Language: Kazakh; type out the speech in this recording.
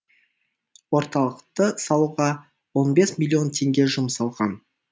орталықты салуға он бес миллион теңге жұмсалған